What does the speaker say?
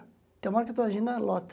Tem uma hora que eu estou agindo na.